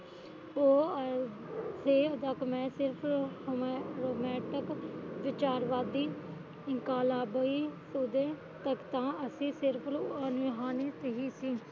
ਉਹ ਇਹ ਹਾਲੇ ਤੱਕ ਮੈਂ ਸਿਰਫ ਹੌਮੇਟਿਕ ਵਿਚਾਰਵਾਦੀ ਇਨਕਲਾਬੀ ਉਹਦੇ ਤਖਤਾਂ ਅਤੇ ਸਿਰਫ ਰੂਹਾਨੀ ਸੀ